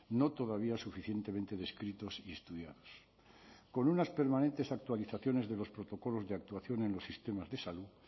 no todavía suficientemente descritos y estudiados con unas permanentes actualizaciones de los protocolos de actuación en los sistemas de salud